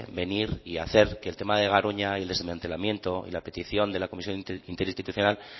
venir y hacer que el tema de garoña el desmantelamiento y la petición de la comisión interinstitucional